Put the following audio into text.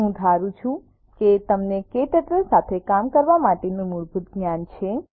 હું ધારું છું કે તમને ક્ટર્ટલ સાથે કામ કરવા માટેનું મૂળભૂત જ્ઞાન છે